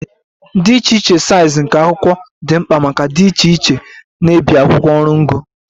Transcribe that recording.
Dị iche iche size nke akwụkwọ dị mkpa maka dị iche iche na-ebi akwụkwọ oru ngo